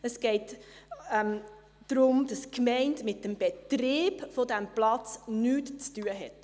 Es geht darum, dass die Gemeinde mit dem Betrieb dieses Platzes nichts zu tun hat.